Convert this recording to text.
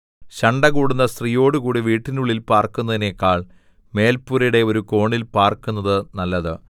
ശണ്ഠകൂടുന്ന സ്ത്രീയോടുകൂടി വീടിനുള്ളിൽ പാർക്കുന്നതിനെക്കാൾ മേൽപുരയുടെ ഒരു കോണിൽ പാർക്കുന്നത് നല്ലത്